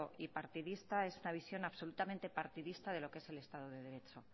y partidista es una visión absolutamente partidista de lo que es el estado de derecho